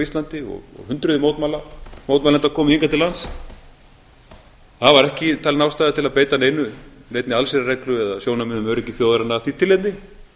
íslandi og hendur mótmælenda komu hingað til lands það var ekki talin ástæða til að beita neinni allsherjarreglu eða sjónarmiðum um öryggi þjóðarinnar af því tilefni